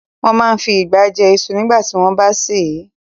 Wọ́n máa n fi ìgbá jẹ iṣu nígbàtí wọ́n bá sè é